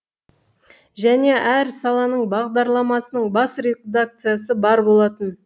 және әр саланың бағдарламасының бас редакциясы бар болатын